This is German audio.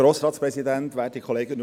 Grossrat Grimm, Sie haben das Wort.